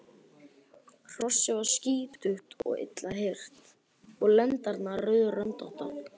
Hrossið var skítugt og illa hirt og lendarnar rauðröndóttar.